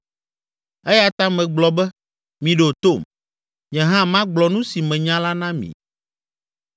“Eya ta megblɔ be, Miɖo tom, nye hã magblɔ nu si menya la na mi.